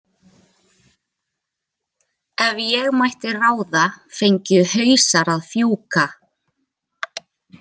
Ef ég mætti ráða fengju hausar að fjúka.